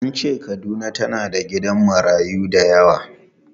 An ce Kaduna tana da gidajen marayu da yawa.